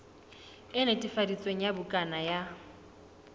e netefaditsweng ya bukana ya